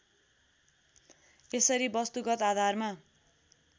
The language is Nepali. यसरी वस्तुगत आधारमा